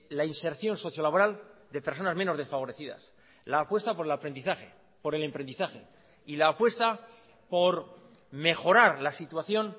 la inserción socio laboral de personas menos desfavorecidas la apuesta por el aprendizaje por el emprendizaje y la apuesta por mejorar la situación